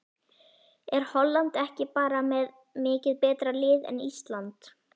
Er Holland ekki bara með mikið betra lið en Ísland?